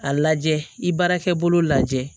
A lajɛ i baarakɛ bolo lajɛ